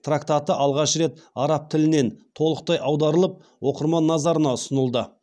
трактаты алғаш рет араб тілінен толықтай аударылып оқырман назарына ұсынылды